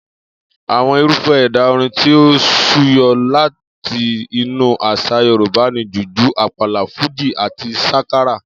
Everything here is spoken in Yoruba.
Àwo̩n irúfé̩ è̩dà orin tí ó súyo̩ láti inú às̩à Yorùbá ni jùjú, àpàlà, fújì àti sákárá